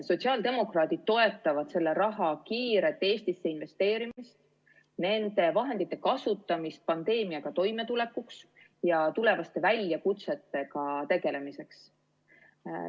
Sotsiaaldemokraadid toetavad selle raha kiiret Eestisse investeerimist, nende vahendite kasutamist pandeemiaga toimetulekuks ja tulevaste väljakutsetega tegelemiseks.